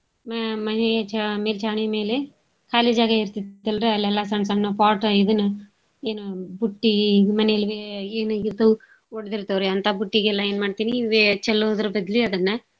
ಮ~ ಮನೀ ಚಾ~ ಮೇಲ್ಚಾವ್ಣಿ ಮೇಲೆ ಖಾಲಿ ಜಾಗ ಇರ್ತೇತಲ್ರಿ ಅಲ್ಲೆಲ್ಲಾ ಸಣ್ ಸಣ್ಣವ್ pot ಇದುನ ಏನು ಬುಟ್ಟೀ ಮನೇಲ್ ಎ~ ಏನಾಗಿರ್ತಾವ್ ಒಡ್ದಿರ್ತಾವ್ರಿ ಅಂತಾ ಬುಟ್ಟಿಗೆಲ್ಲಾ ಏನ್ಮಾಡ್ತೀನಿ ವೇ~ ಚೆಲ್ಲೋದ್ರ್ ಬದ್ಲೀ ಅದನ್ನ.